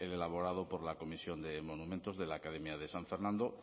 elaborado por la comisión de monumentos de la academia de san fernando